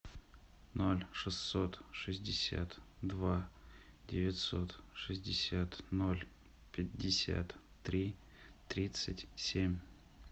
ноль шестьсот шестьдесят два девятьсот шестьдесят ноль пятьдесят три тридцать семь